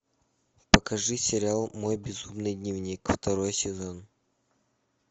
покажи сериал мой безумный дневник второй сезон